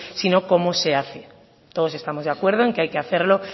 sino cómo se hace todos estamos de acuerdo en que hay que hacerlo